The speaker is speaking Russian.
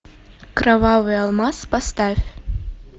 кровавый алмаз поставь